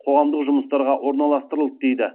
қоғамдық жұмыстарға орналастырылды дейді